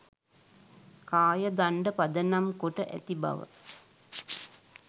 කාය දණ්ඩ පදනම් කොට ඇති බව